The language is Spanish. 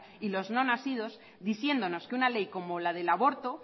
y los no nacidos diciéndonos que una ley como la del aborto